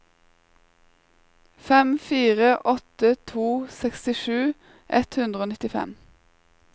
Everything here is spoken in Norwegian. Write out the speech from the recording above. fem fire åtte to sekstisju ett hundre og nittifem